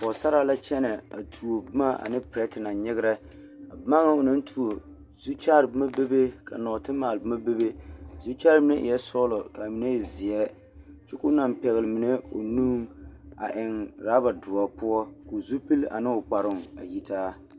Pɔɡesaraa la kyɛnɛ a tuo boma ane perɛte naŋ nyeɡerɛ a boma ŋa o naŋ tuo zukyaare boma bebe ka nɔɔtemaale boma bebe a zukyaare mine eɛ sɔɔlɔ ka a mine e zeɛ kyɛ ka o naŋ pɛɡele mine o nuŋ a eŋ uraba doɔ poɔ ka o zupili ane o kparoo a yitaa.